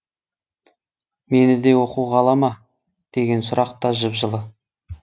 мені де оқуға ала ма деген сұрақ та жып жылы